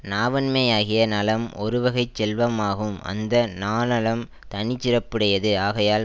நாவன்மையாகிய நலம் ஒருவகை செல்வம் ஆகும் அந்த நாநலம் தனிச்சிறப்புடையது ஆகையால்